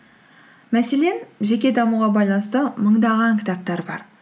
мәселен жеке дамуға байланысты мыңдаған кітаптар бар